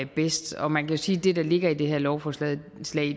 bedst og man kan sige at det der ligger i det her lovforslag